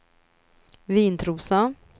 Vintrosa